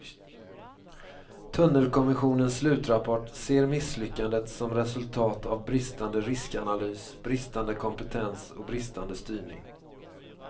Tunnelkommissionens slutrapport ser misslyckandet som resultat av bristande riskanalys, bristande kompetens och bristande styrning.